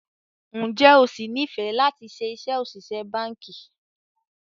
Ǹjẹ́ o sì nifẹ lati ṣe iṣẹ́ òṣìṣẹ́ báńkì?